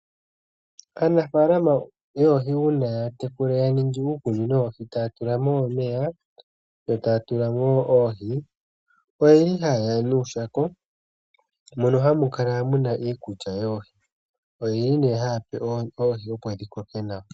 Aanafalama yoohi uuna ta ya tekula, ya ningi uukunino woohi eta ya tulamo omeya, yo taya tulamo oohi, oha ye ya nuushako moka hamukala muna iikulya mbyoka ha yi pewa oohi opo dhikoke nawa.